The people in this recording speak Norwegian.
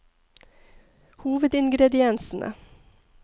hovedingrediensene